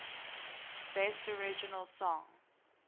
best original song